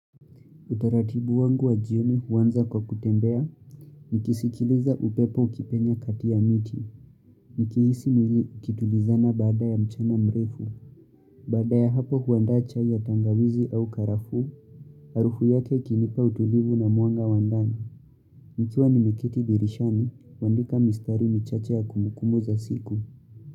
Utaratibu wangu wa jioni huanza kwa kutembea, nikisikiliza upepo ukipenya kati ya miti, nikihisi mwili ukitulizana baada ya mchana mrefu, baada ya hapo huandaa chai ya tangawizi au karafu, arufu yake ikinipa utulivu na mwanga wa ndani, nikiwa nimekiti dirishani, huandika mistari michache ya kumbukumbu za siku.